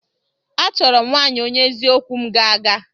Achọrọ m nwaanyị onye eziokwu m ga-aga.